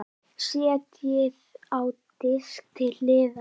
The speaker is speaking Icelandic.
Setjið á disk til hliðar.